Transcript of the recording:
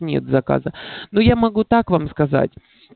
нет заказа но я могу так вам сказать